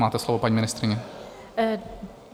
Máte slovo, paní ministryně.